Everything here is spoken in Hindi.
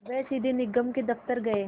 वे सीधे निगम के दफ़्तर गए